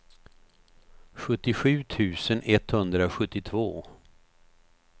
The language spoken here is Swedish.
sjuttiosju tusen etthundrasjuttiotvå